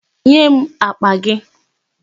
Nye m àkpà gị!